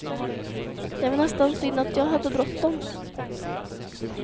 Det var nästan synd att jag hade bråttom.